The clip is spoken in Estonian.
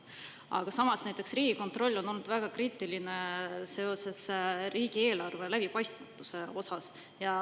Aga samas näiteks Riigikontroll on olnud väga kriitiline seoses riigieelarve läbipaistmatuse osas.